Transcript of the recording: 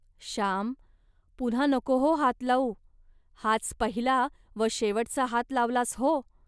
श्याम, पुन्हा नको हो हात लावू. हाच पहिला व शेवटचा हात लावलास हो